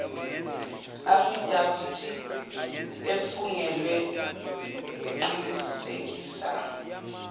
afidavithi efungelwe eqinisekisa